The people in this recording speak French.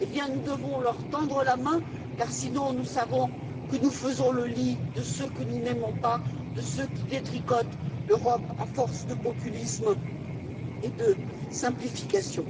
Nous devons leur tendre la main car, sinon, nous savons que nous faisons le lit de ceux que nous n'aimons pas, de ceux qui détricotent l'Europe à force de populisme et de simplification.